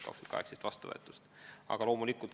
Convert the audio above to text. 2018. aastal on see vastu võetud.